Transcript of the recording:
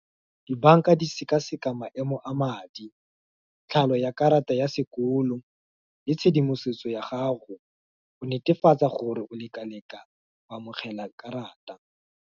Di-bank-a di sekaseka maemo a madi, tlhalo ya karata ya sekolo, le tshedimosetso ya gago, o netefatsa gore o leka-leka go amogela karata.